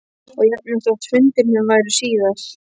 Og jafnvel þótt fundirnir væru síðar.